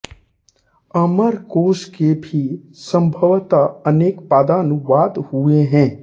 अमरकोश के भी सभवतः अनेक पद्यानुवाद हुए है